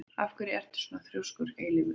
Af hverju ertu svona þrjóskur, Eilífur?